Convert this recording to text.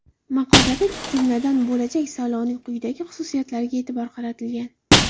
Maqolada, jumladan, bo‘lajak saylovning quyidagi xususiyatlariga e’tibor qaratilgan.